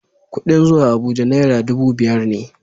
Kuɗin zuwa Abuja naira dubu biyar ne.